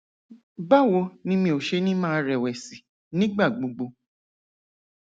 báwo ni mi ò ṣe ní máa rẹwẹsì nígbà gbogbo